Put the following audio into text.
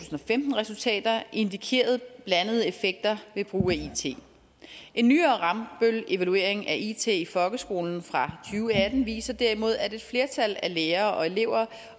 og femten resultater indikeret blandede effekter ved brug af it en nyere rambøllevaluering af it i folkeskolen fra to og atten viser derimod at et flertal af lærere og elever